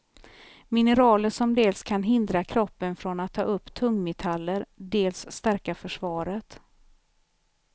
Mineraler som dels kan hindra kroppen från att ta upp tungmetaller, dels stärka försvaret.